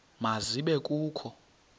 ma zibe kho